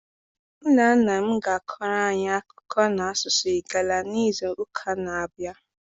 Nna nna m ga-akọrọ anyị akụkọ na-asụsụ Igala n'izu ụka na-abịa.